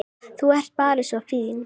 Þú ert bara svo fín.